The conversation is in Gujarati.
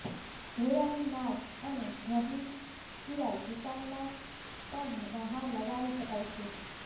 ઘોડાની નાળ અને ઘરની સિવાય દુકાનમાં પણ બહાર લગાવી શકાય છે